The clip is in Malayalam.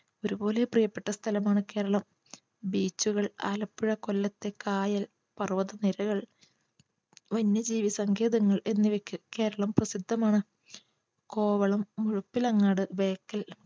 ഒരുപോലെ പ്രിയപ്പെട്ട സ്ഥലമാണ് കേരളം beach കൾ ആലപ്പുഴ കൊല്ലത്തെ കായൽ പർവ്വത നിരകൾ വന്യജീവി സങ്കേതങ്ങൾ എന്നിവയ്ക്ക് കേരളം പ്രസിദ്ധമാണ് കോവളം മുഴപ്പിലങ്ങാട് ബേക്കൽ